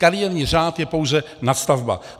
Kariérní řád je pouze nadstavba.